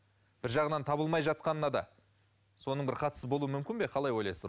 бір жағынан табылмай жатқанына да соның бір қатысы болуы мүмкін бе қалай ойлайсыздар